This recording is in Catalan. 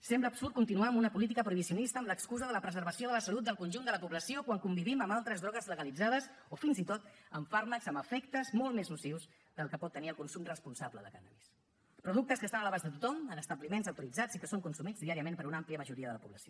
sembla absurd continuar amb una política prohibicionista amb l’excusa de la preservació de la salut del conjunt de la població quan convivim amb altres drogues legalitzades o fins i tot amb fàrmacs amb efectes molt més nocius del que pot tenir el consum responsable de cànnabis productes que estan a l’abast de tothom en establiments autoritzats i que són consumits diàriament per una àmplia majoria de la població